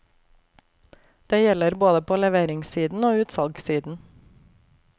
Det gjelder både på leveringssiden og utsalgssiden.